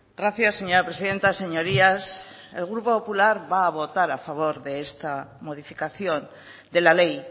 gracias señora presidenta señorías el grupo popular va a votar a favor de esta modificación de la ley